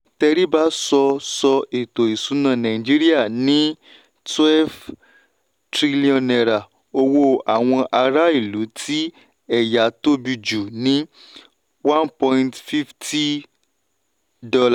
teriba sọ sọ ètò ìsúná nàìjíríà ní n twelve trillion owó àwọn ará ìlú tí eya tóbi jù ní $ one point five zero.